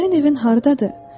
Sənin evin hardadır?